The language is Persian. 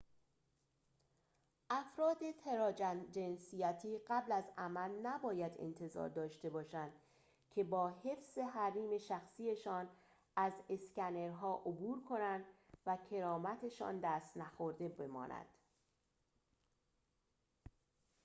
افراد تراجنسیتی قبل از عمل نباید انتظار داشته باشند که با حفظ حریم شخصی‌شان از اسکنرها عبور کنند و کرامت‌شان دست نخورده بماند